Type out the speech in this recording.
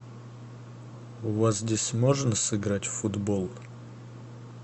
у вас здесь можно сыграть в футбол